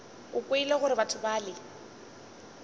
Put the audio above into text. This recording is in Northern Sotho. o kwele gore batho bale